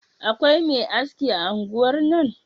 Akwai Me aski a unguwar nan?